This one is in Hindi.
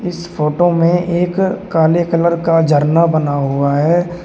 इस फोटो में एक काले कलर का झरना बना हुआ है।